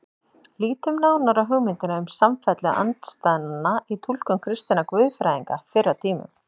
Lítum nánar á hugmyndina um samfellu andstæðnanna í túlkun kristinna guðfræðinga fyrr á tímum.